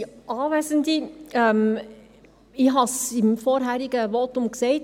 Ich habe es im vorherigen Votum gesagt: